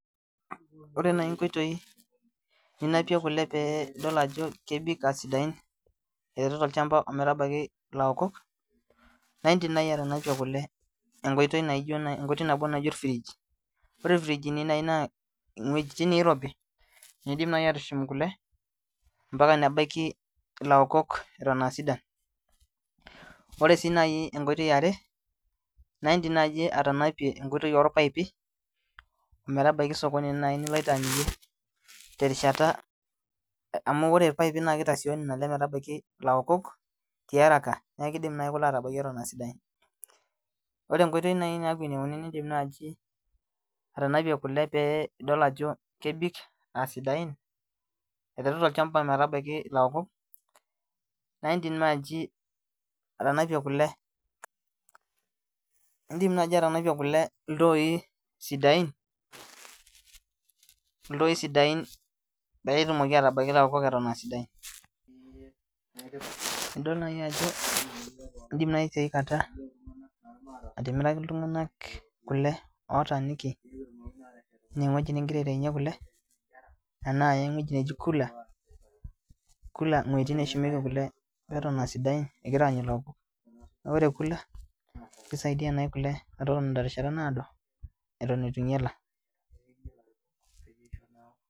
Ore nai inkoitoi ninapie kule pee idol ajo kebik aasidain e uyaitai tolchamba ometabaiki ilaokok naidim nai atanapie kule engoitoi nabo naji olfridge Ore ilfrijini nai naa iwuejitin niirobi nii'dim nai atushum kule ombaka nebaiki ilaokok eton aasidan Ore siinai enkoitoi iare naidim nai atanapie enkoitoi orpaipi ometabaiki sokoni nai niloito amirie terishata amu ore iroaipi naa kitasioyo nena ale metabaiki ilaokok tiarak niaku kiidim nai kule atabaiki eton aasidain Ore enkoitoi nai naaku enieuni nii'dim naji atanapie kule pee idol ajo kebik aasaidain aiteru tolchamba ometabaiki ilaokok naa in'dim naji atanapie kule iltoi sidain iltoi sidain peetumoki atabaiki ilaokok eton aa sidain Nidol nai ajo in'dim nai tiakata atimiraki iltung'anak kule ootaaniki inewueji nigira aitaunye kule enaa ewueji neji cooler ewuji neshumieki kule eton aasidain egira aanyu ilaokok naa ore cooer kisaidia nai kule metotoni terishata naado eton eitu inyala